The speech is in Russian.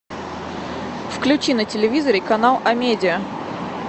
включи на телевизоре канал амедиа